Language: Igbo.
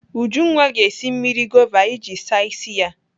Ujunwa ga-esi mmiri gova iji ịsa ịsị ya.